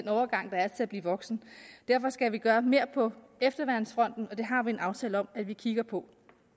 overgang der er til at blive voksen derfor skal vi gøre mere på efterværnsfronten og det har vi en aftale om at vi kigger på